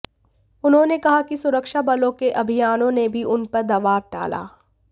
उन्होंने कहा कि सुरक्षा बलों के अभियानों ने भी उन पर दबाव डाला